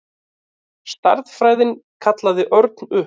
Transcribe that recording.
Stærðfræðin kallaði Örn upp.